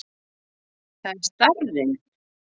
Það er starrinn.